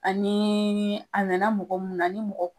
Ani a nana mɔgɔ min na ni mɔgɔ